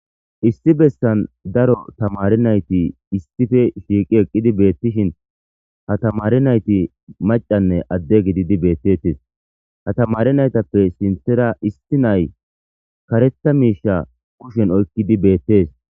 Issi bessan daro thamaare naythi issife shiiqi eqqidi beeththishin ha thamare naythi maccanne adde gididi beeththeththes; ha thamaare naythappe sinththera isthi na7ay kareththa miishsha kushen oykkidi beeththees.